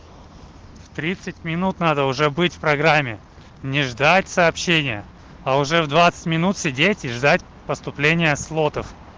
в тридцать минут надо уже быть в программе не ждать сообщения а уже в двадцать минут сидеть и ждать поступления слотов